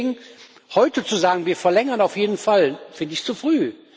Deswegen heute zu sagen Wir verlängern auf jeden Fall, finde ich zu früh.